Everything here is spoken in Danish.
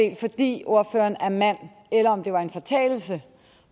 ordføreren er mand eller om det var en fortalelse